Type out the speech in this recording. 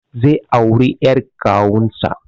Zai auri ƴar kawunsa